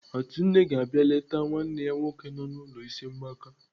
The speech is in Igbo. Atunne ga-abịa eleta nwanne ya nwoke nọ n'ụlọ ịsị mgbaka.